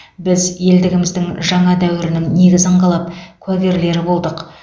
біз елдігіміздің жаңа дәуірінің негізін қалап куәгерлері болдық